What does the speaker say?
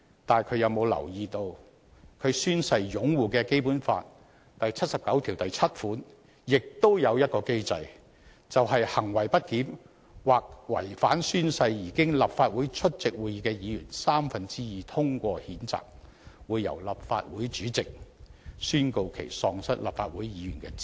但他有否留意到他宣誓擁護的《基本法》第七十九條第七項亦設有一項機制，便是"行為不檢或違反誓言而經立法會出席會議的議員三分之二通過譴責"，會"由立法會主席宣告其喪失立法會議員的資格"？